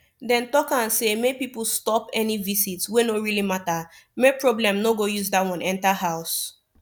dem talk am say make people stop any visit wey no really matter make problem no go use that one enter house